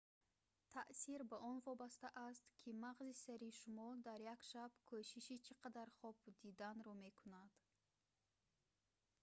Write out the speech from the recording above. таъсир ба он вобаста аст ки мағзи сари шумо дар як шаб кӯшиши чи қадар хоб диданро мекунадд